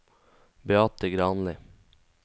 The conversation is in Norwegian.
Beate Granli